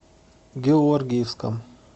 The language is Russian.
георгиевском